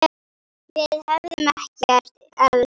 Við hefðum ekkert elst.